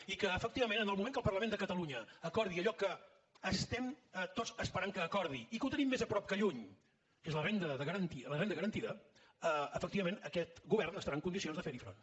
i que efectivament en el moment que el parlament de catalunya acordi allò que estem tots esperant que acordi i que ho tenim més a prop que lluny que és la renda garantida efectivament aquest govern estarà en condicions de fer hi front